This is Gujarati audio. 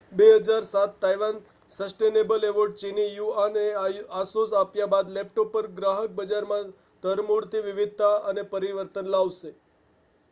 2007 તાઇવાન સસ્ટેનેબલ એવોર્ડ ચીની યુઆનને આસુસ આપ્યા બાદ લેપટોપ પર ગ્રાહક બજારમાં ધરમૂળથી વિવિધતા અને પરિવર્તન લાવશે